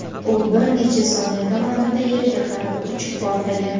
U bir necha soniya davomida yerga qarab uchib, portlagan.